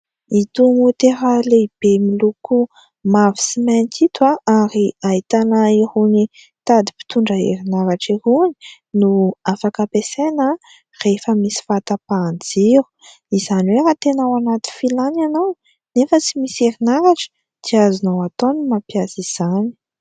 Ito maotera lehibe miloko mavo sy mainty ito ary ahitana irony tady mpitondra herinaratra irony no afaka ampiasaina rehefa misy fahatapahan-jiro izany hoe raha tena ao anaty filàna ianao anefa tsy misy herinaratra dia azonao atao ny mampiasa izany.